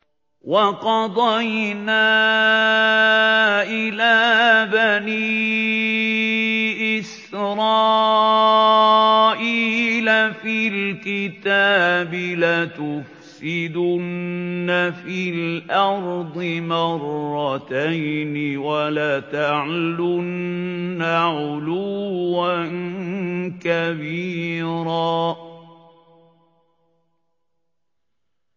وَقَضَيْنَا إِلَىٰ بَنِي إِسْرَائِيلَ فِي الْكِتَابِ لَتُفْسِدُنَّ فِي الْأَرْضِ مَرَّتَيْنِ وَلَتَعْلُنَّ عُلُوًّا كَبِيرًا